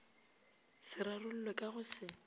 se rarollwe ka go se